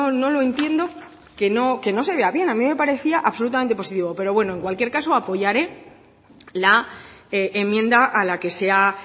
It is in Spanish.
no lo entiendo que no se vea bien a mí me parecía absolutamente positivo pero bueno en cualquier caso apoyaré la enmienda a la que se ha